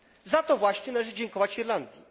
Za to właśnie należy dziękować Irlandii.